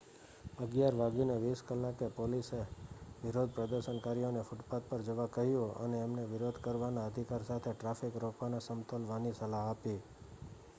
11:20 કલાકે પોલીસએ વિરોધ પ્રદર્શનકારીઓ ને ફૂટપાથ પર જવા કહ્યું અને એમને વિરોધ કરવાના અધિકાર સાથે ટ્રાફિક રોકવાને સમતોલવાની સલાહ આપી